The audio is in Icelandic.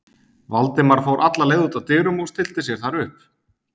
Valdimar fór alla leið út að dyrum og stillti sér þar upp.